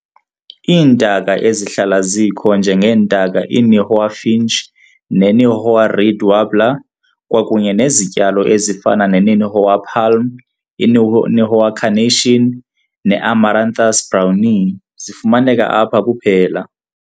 Iintaka ezihlala zikho njengentaka iNihoa finch neNihoa reed warbler, kwakunye nezityalo ezifana neNihoa palm, iNihoa carnation, neAmaranthus "brownii" zifumaneka apha kuphela.